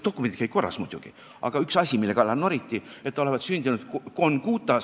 Dokumendid olid korras, aga noriti selle kallal, et ta olevat sündinud Kongútas.